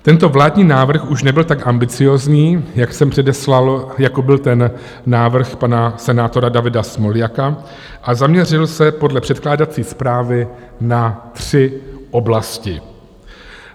Tento vládní návrh už nebyl tak ambiciózní, jak jsem předeslal, jako byl ten návrh pana senátora Davida Smoljaka, a zaměřil se podle předkládací zprávy na tři oblasti.